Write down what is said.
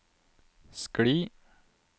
skli